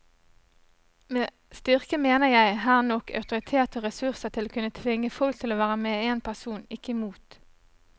Med styrke mener jeg her nok autoritet og ressurser til å kunne tvinge folk til å være med en person, ikke mot.